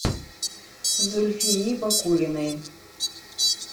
зульфии бакулиной